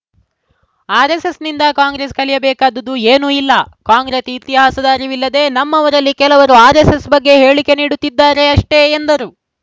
ಆರ್‌ಎಸ್‌ಎಸ್‌ನಿಂದ ಕಾಂಗ್ರೆಸ್‌ ಕಲಿಯಬೇಕಾದದು ಏನೂ ಇಲ್ಲ ಕಾಂಗ್ರೆಸ್‌ ಇತಿಹಾಸದ ಅರಿವಿಲ್ಲದೆ ನಮ್ಮವರಲ್ಲಿ ಕೆಲವರು ಆರ್‌ಎಸ್‌ಎಸ್‌ ಬಗ್ಗೆ ಹೇಳಿಕೆ ನೀಡುತ್ತಿದ್ದರೆ ಅಷ್ಟೆಎಂದರು